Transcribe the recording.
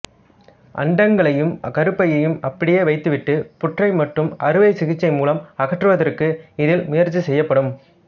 அண்டகங்களையும் கருப்பையையும் அப்படியே வைத்துவிட்டு புற்றை மட்டும் அறுவைசிகிச்சை மூலம் அகற்றுவதற்கு இதில் முயற்சி செய்யப்படும்